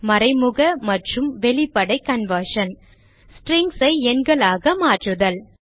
மறைமுக மற்றும் வெளிப்படை கன்வர்ஷன் strings ஐ எண்களாக மாற்றுதல்